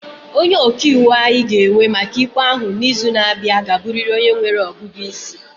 Onye ọka iwu anyị ga-ewe maka ikpe ahụ n'izu na-abịa ga-abụrịrị onye nwere ọgụgụ isi.